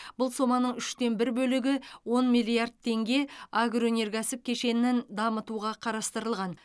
бұл соманың үштен бір бөлігі он миллиард теңге агроөнеркәсіп кешенін дамытуға қарастырылған